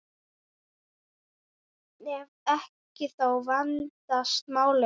Ef ekki, þá vandast málin.